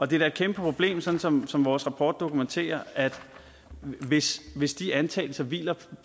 det er da et kæmpe problem sådan som som vores rapport dokumenterer hvis hvis de antagelser hviler